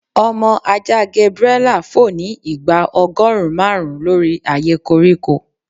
Ọmọ aja Gabriela fo ni igba ọgọrun marun lori aaye koriko